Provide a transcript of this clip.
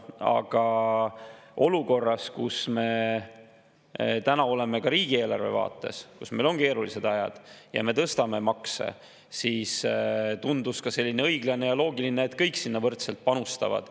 Aga olukorras, kus me täna oleme ka riigieelarve vaates – meil on keerulised ajad ja me tõstame makse –, tundus õiglane ja loogiline, et kõik sinna võrdselt panustavad.